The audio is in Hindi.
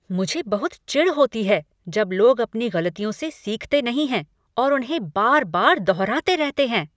मुझे बहुत चिढ़ होती है जब लोग अपनी गलतियों से सीखते नहीं हैं और उन्हें बार बार दोहराते रहते हैं।